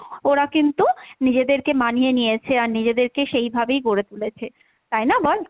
ওরা কিন্তু নিজেদেরকে মানিয়ে নিয়েছে, আর নিজেদেরকে সেই ভাবেই গড়ে তুলেছে, তাই না বল?